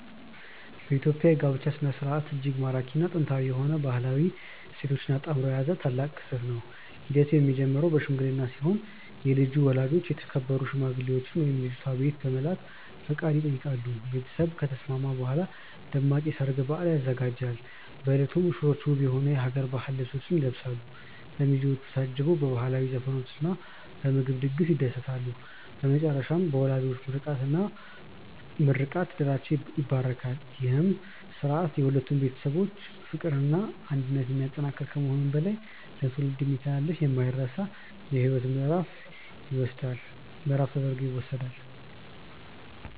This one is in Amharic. የኢትዮጵያ የጋብቻ ሥነ ሥርዓት እጅግ ማራኪና ጥንታዊ የሆኑ ባህላዊ እሴቶችን አጣምሮ የያዘ ታላቅ ክስተት ነው። ሂደቱ የሚጀምረው በሽምግልና ሲሆን የልጁ ወላጆች የተከበሩ ሽማግሌዎችን ወደ ልጅቷ ቤት በመላክ ፈቃድ ይጠይቃሉ። ቤተሰብ ከተስማማ በኋላ ደማቅ የሰርግ በዓል ይዘጋጃል። በዕለቱም ሙሽሮች ውብ የሆኑ የሀገር ባህል ልብሶችን ይለብሳሉ፤ በሚዜዎች ታጅበውም በባህላዊ ዘፈኖችና በምግብ ድግስ ይደሰታሉ። በመጨረሻም በወላጆች ምርቃትና ምርቃት ትዳራቸው ይባረካል። ይህ ሥርዓት የሁለቱን ቤተሰቦች ፍቅርና አንድነት የሚያጠናክር ከመሆኑም በላይ ለትውልድ የሚተላለፍ የማይረሳ የሕይወት ምዕራፍ ተደርጎ ይወሰዳል።